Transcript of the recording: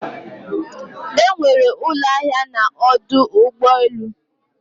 Enwere ụlọ ahịa na ọdụ ụgbọ elu